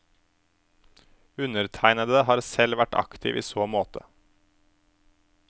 Undertegnede har selv vært aktiv i så måte.